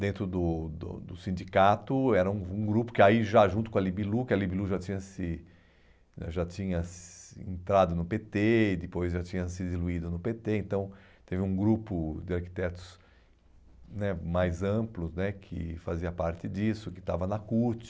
Dentro do do do sindicato, era um um grupo que aí já junto com a Libilu, que a Libilu já tinha se né já tinha se entrado no pê tê e depois já tinha se diluído no pê tê, então teve um grupo de arquitetos né mais amplo né que fazia parte disso, que estava na CUT.